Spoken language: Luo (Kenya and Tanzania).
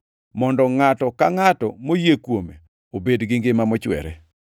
mondo ngʼato ka ngʼato moyie kuome obed gi ngima mochwere.